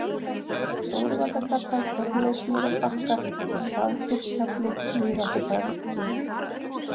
Stóruvallagata, Þorleifsmýrarbakkar, Hlaðklifshjalli, Víðáttukargi